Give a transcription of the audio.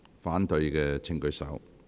反對的請舉手。